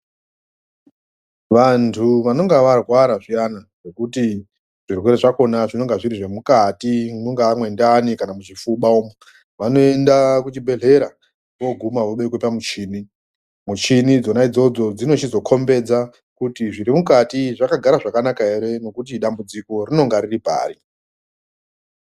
Vantu vanonga varwara zviyana zvekuti zvirwere zvakona zvinonga zviri zvemukati, mungaa mwendani kana muchipfuba umu. Vanoenda kuchibhedhlera, vooguma vobekwe pamuchini. Michini idzona idzodzo dzinochizokombedza kuti zvirimukati zvakagara zvakanaka here nokuti dambudziko rinonge riri pari.